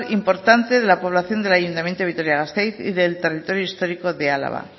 importante de la población del ayuntamiento de vitoria gasteiz y del territorio histórico de álava